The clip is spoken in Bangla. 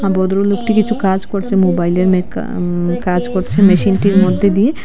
আ ভদ্রলোকটি কিছু কাজ করছে মোবাইলে মেকা উম কাজ করছে মেশিনটার মধ্যে দিয়ে।